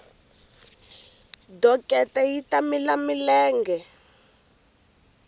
dokete yi ta mila milenge